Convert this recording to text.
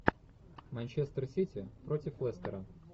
манчестер сити против лестера